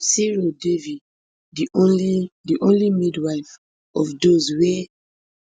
siro devi di only di only midwife of dose wey